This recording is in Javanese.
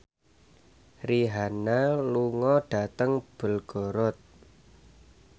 Rihanna lunga dhateng Belgorod